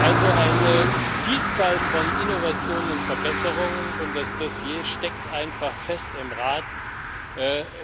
Also eine Vielzahl von Innovationen und Verbesserungen, und das Dossier steckt einfach im Rat fest.